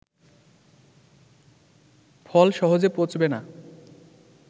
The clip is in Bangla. ফল সহজে পচবে না